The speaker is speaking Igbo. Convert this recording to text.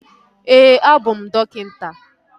Ee, abụ m dọkịta